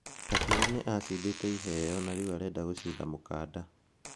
Akiuga nĩ acindĩte iheyo na rĩu arenda gũcinda mũkanda.